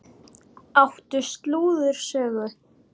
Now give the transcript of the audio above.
Áttu slúðursögu?